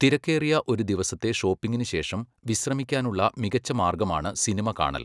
തിരക്കേറിയ ഒരു ദിവസത്തെ ഷോപ്പിംഗിന് ശേഷം വിശ്രമിക്കാനുള്ള മികച്ച മാർഗമാണ് സിനിമ കാണൽ.